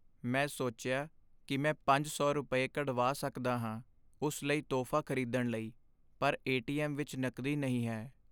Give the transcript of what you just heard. ਮੈਂ ਸੋਚਿਆ ਕੀ ਮੈਂ ਪੰਜ ਸੌ ਰੁਪਏ, ਕਢਵਾ ਸਕਦਾ ਹਾਂ ਉਸ ਲਈ ਤੋਹਫ਼ਾ ਖ਼ਰੀਦਣ ਲਈ, ਪਰ ਏ.ਟੀ.ਐੱਮ. ਵਿੱਚ ਨਕਦੀ ਨਹੀਂ ਹੈ